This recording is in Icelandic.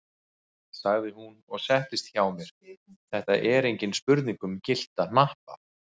sagði hún og settist hjá mér, þetta er engin spurning um gyllta hnappa!